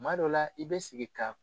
Kuma dɔw la i be sigi ka